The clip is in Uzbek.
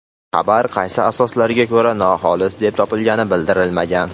Xabar qaysi asoslarga ko‘ra noxolis deb topilgani bildirilmagan.